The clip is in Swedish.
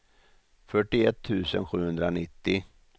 fyrtioett tusen sjuhundranittio